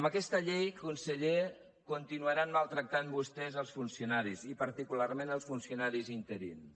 amb aquesta llei conseller continuaran maltractant vostès els funcionaris i particularment els funcionaris interins